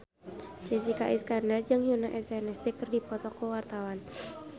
Jessica Iskandar jeung Yoona SNSD keur dipoto ku wartawan